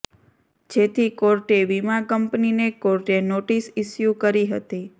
જેથી કોર્ટે વીમા કંપનીને કોર્ટે નોટિસ ઇસ્યુ કરી હતી